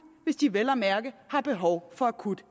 hvis de vel at mærke har behov for akut